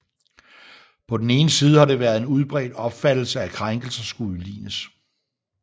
På den ene side har det været en udbredt opfattelse at krænkelser skulle udlignes